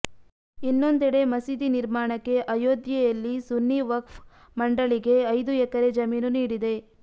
ಇನ್ನೊಂದೆಡೆ ಮಸೀದಿ ನಿರ್ಮಾಣಕ್ಕೆ ಅಯೋಧ್ಯೆಯಲ್ಲಿ ಸುನ್ನಿ ವಕ್ಫ್ ಮಂಡಳಿಗೆ ಐದು ಎಕರೆ ಜಮೀನು ನೀಡಿದೆ